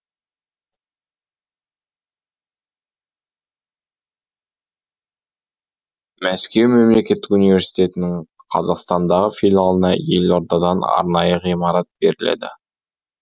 мәскеу мемлекеттік университетінің қазақстандағы филиалына елордадан арнайы ғимарат беріледі